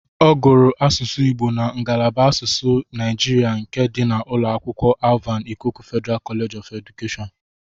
Ọ gụrụ asụsụ Igbo na ngalaba asụsụ Naijiria nke dị na ụlọ akwụkwọ Alvan Ikoku Federal College of Education.